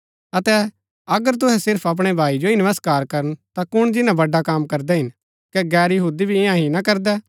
अतै अगर तुहै सिर्फ अपणै भाई जो ही नमस्कार करन ता कुण जिन्‍ना बड्ड़ा कम करदै हिन कै गैर यहूदी भी ईयां ही ना करदै